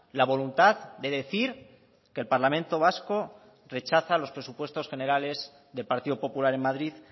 la voluntad de decir que el parlamento vasco rechaza los presupuestos generales del partido popular en madrid